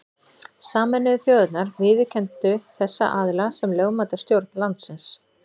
Sameinuðu þjóðirnar viðurkenndu þessa aðila sem lögmæta stjórn landsins.